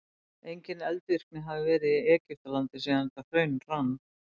engin eldvirkni hefur verið í egyptalandi síðan þetta hraun rann